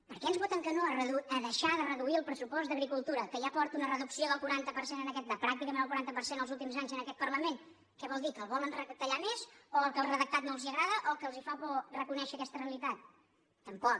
per què ens voten que no a deixar de reduir el pressu·post d’agricultura que ja porta una reducció de pràc·ticament el quaranta per cent els últims anys en aquest par·lament què vol dir que el volen retallar més o que el redactat no els agrada o que els fa por reconèixer aquesta realitat tampoc